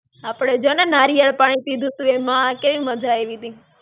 આપડે જો ને નારિયળ પાણી પિધું તું એમાં કેવી મજા આયવી તી.